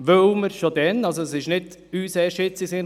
Es ist uns nicht erst jetzt in den Sinn gekommen.